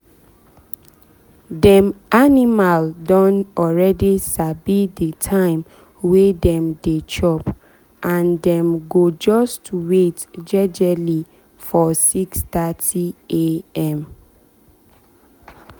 dem animal don already sabi the time wey dem dey chop and dem go just wait jejely for 6:30am